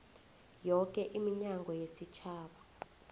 yoke iminyango yesitjhaba